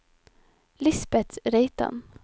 Lisbeth Reitan